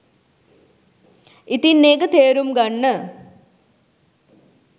ඉතින් ඒක තේරුම් ගන්න